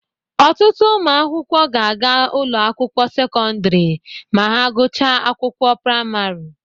Ọtụtụ ụmụ akwụkwọ ga-aga ụlọ akwụkwọ sekọndrị ma ha gụchaa akwụkwọ praịmarị